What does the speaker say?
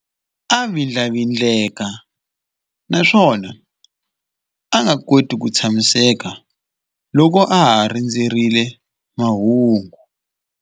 A vindlavindleka naswona a nga koti ku tshamiseka loko a ha rindzerile mahungu.